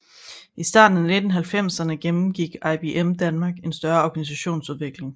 I starten af 1990erne gennemgik IBM Danmark en større organisationsudvikling